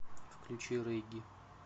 включи регги